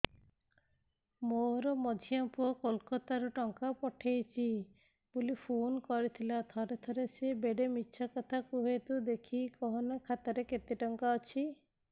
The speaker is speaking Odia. ମୋର ମଝିଆ ପୁଅ କୋଲକତା ରୁ ଟଙ୍କା ପଠେଇଚି ବୁଲି ଫୁନ କରିଥିଲା ଥରେ ଥରେ ସିଏ ବେଡେ ମିଛ କଥା କୁହେ ତୁଇ ଦେଖିକି କହନା ଖାତାରେ କେତ ଟଙ୍କା ଅଛି